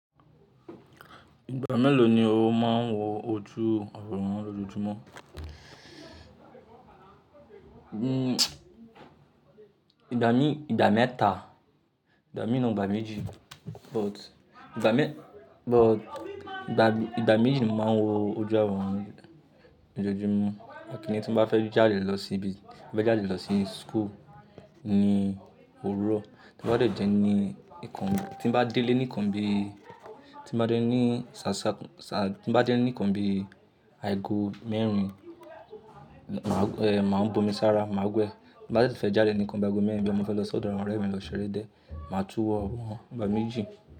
Ìgbà mélòó ni o máa ń wo ojú àwọn ọmọ lọ́jọ́júmọ́? Ìgbà mí ìgbà mẹ́ta, ìgbà mí nà igbà méjì, but ìgbà mẹ but ìgbà ìgbà méjì ni mo máa ń wo ojú àwọn mi lọ́jọ́júmọ́. Ẹkìnní tí n bá fẹ́ jáde lọ síbi bá fẹ́ jáde lọ sí school ní òórọ̀, tí n bá dé ní ìkan tí mo bá délé ní ìkan bí tí mo bá délé ní sà sá tí mo bá délé ní ìkan bí àìgo mẹ́rin, máa ẹ̀ máa bú omi sára, màá wẹ̀ tí n bá tu fẹ́ jáde nìkan bi aìgo mẹ́rin bo ya mo fẹ́ lọ ṣ'ọ̀dọ̀ àwọn ọ̀rẹ́ mi lọ ṣeré diẹ, màá túwọ̀ àwọn igbà méjì.